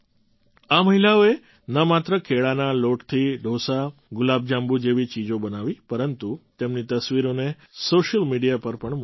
આ મહિલાઓએ ન માત્ર કેળાના લોટથી ડોસા ગુલાબજાંબુ જેવી ચીજો બનાવી પરંતુ તેમની તસવીરોને સૉશિયલ મિડિયા પર પણ મૂકી છે